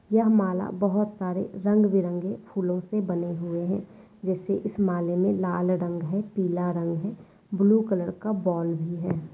यह माला बहुत सारे रंग बिरंग फूलों से बने हुए है जैसे इस माला मे लाल रंग है पीला रंग है ब्लू कलर का बॉल भी है।